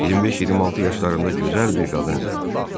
25-26 yaşlarında gözəl bir qadın idi.